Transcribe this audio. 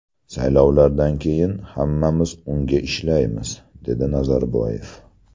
Saylovlardan keyin, hammamiz unga ishlaymiz”, – dedi Nazarboyev.